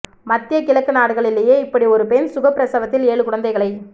மத்திய கிழக்கு நாடுகளிலேயே இப்படி ஒரு பெண் சுகப்பிரசவத்தில் ஏழு குழந்தைகளை